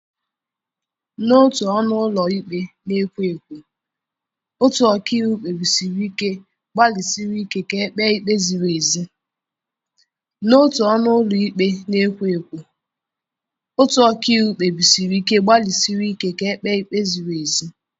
N'otu ọnụ ụlọ ikpe na-ekwo ekwo, otu ọkàiwu kpebisiri ike gbalịsiri ike ka e kpee ikpe ziri ezi.